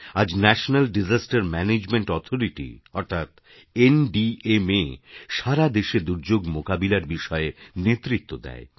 আজ ন্যাশনাল্ডিশাস্তের management authority অর্থাৎ এনডিএমএ সারা দেশে দুর্যোগ মোকাবিলার বিষয়ে নেতৃত্ব দেয়